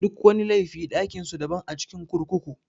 Duk wani laifi ɗakin su daban a cikin kurkuku.